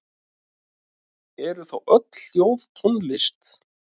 Eru þá öll hljóð tónlist?